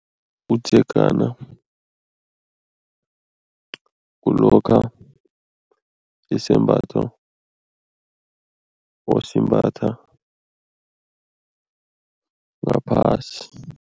Umdzegana kulokha isembatho osimbatha ngaphasi.